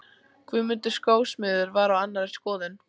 Guðmundur skósmiður var á annarri skoðun.